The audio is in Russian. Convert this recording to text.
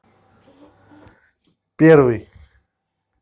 первый